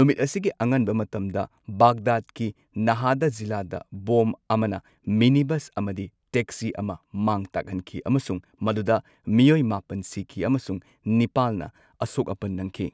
ꯅꯨꯃꯤꯠ ꯑꯁꯤꯒꯤ ꯑꯉꯟꯕ ꯃꯇꯝꯗ, ꯕꯥꯒꯗꯥꯗꯀꯤ ꯅꯥꯍꯗꯥ ꯖꯤꯂꯥꯗ ꯕꯣꯝ ꯑꯃꯅ ꯃꯤꯅꯤꯕꯁ ꯑꯃꯗꯤ ꯇꯦꯛꯁꯤ ꯑꯃ ꯃꯥꯡ ꯇꯥꯛꯍꯟꯈꯤ ꯑꯃꯁꯨꯡ ꯃꯗꯨꯗ ꯃꯤꯑꯣꯏ ꯃꯥꯄꯟ ꯁꯤꯈꯤ ꯑꯃꯁꯨꯡ ꯅꯤꯄꯥꯜꯅ ꯑꯁꯣꯛ ꯑꯄꯟ ꯅꯪꯈꯤ꯫